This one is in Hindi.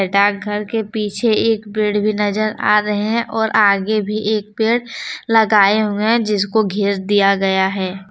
डाकघर के पीछे एक पेड़ भी नजर आ रहे हैं और आगे भी एक पेड़ लगाए हुए हैं जिसको घेर दिया गया है।